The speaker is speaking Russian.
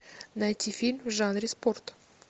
найти фильм в жанре спорт